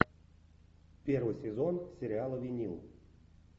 первый сезон сериала винил